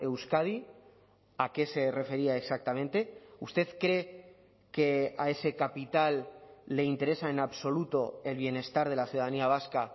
euskadi a qué se refería exactamente usted cree que a ese capital le interesa en absoluto el bienestar de la ciudadanía vasca